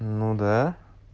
ну да